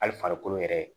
Hali farikolo yɛrɛ